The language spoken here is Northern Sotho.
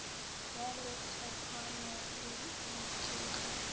wa go tshepano le boiketlo